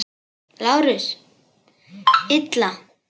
LÁRUS: Illa!